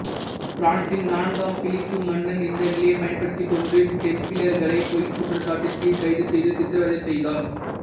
பிரான்சின் நான்காம் பிலிப்பு மன்னன் இந்த நிலையைப் பயன்படுத்திக் கொண்டு டெம்பிளர்களை பொய்க் குற்றச்சாட்டின் கீழ் கைதுசெய்து சித்திரவதை செய்தான்